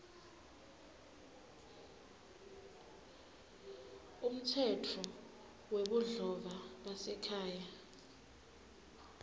umtsetfo webudlova basekhaya